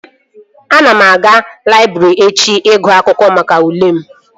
Ana m eje laịbrị echi ịgụ akwụkwọ maka ule m